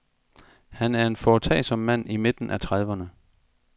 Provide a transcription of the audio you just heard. Han er en foretagsom mand i midten af trediverne.